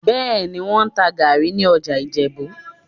Bẹ́ẹ̀ni, wọ́n ń ta gàárì ní ọjà Ìjẹ̀bú